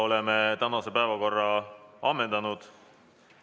Oleme tänase päevakorra ammendanud.